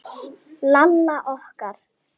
Lalla okkar.